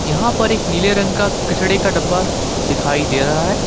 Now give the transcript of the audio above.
यहां पर एक नीले रंग का कचड़े का डब्बा दिखाई दे रहा है।